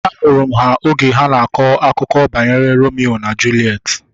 Ahụrụ m ha oge ha na-akọ akụkọ banyere Romio na Juliet